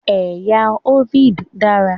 Ẹ̀yà Hovid dára.